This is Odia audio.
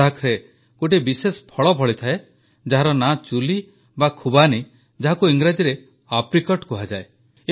ଲଦ୍ଦାଖରେ ଗୋଟିଏ ବିଶେଷ ଫଳ ଫଳିଥାଏ ଯାହାର ନାଁ ଚୁଲୀ ବା ଖୁବାନୀ ଯାହାକୁ ଇଂରାଜୀରେ ଆପ୍ରିକଟ୍ କୁହାଯାଏ